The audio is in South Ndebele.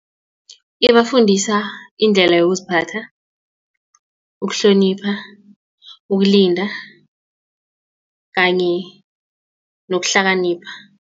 Ibafundisa indlela yokuziphatha, ukuhlonipha, ukulinda kanye nokuhlakanipha.